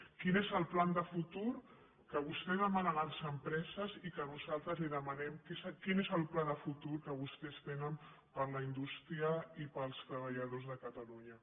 quin és el pla de futur que vostè demana a les empreses i que nosaltres li demanem quin és el pla de futur que vostès tenen per a la indústria i per als treballadors de catalunya